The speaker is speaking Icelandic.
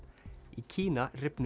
í Kína rifnuðu